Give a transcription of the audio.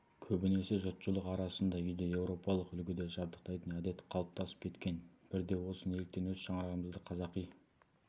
көбінесе жұртшылық арасында үйді еуропалық үлгіде жабдықтайтын әдет қалыптасып кеткен бірде осы неліктен өз шаңырағымызды қазақи